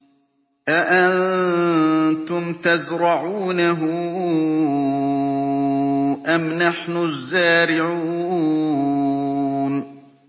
أَأَنتُمْ تَزْرَعُونَهُ أَمْ نَحْنُ الزَّارِعُونَ